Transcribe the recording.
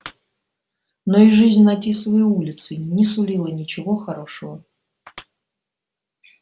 но и жизнь на тисовой улице не сулила ничего хорошего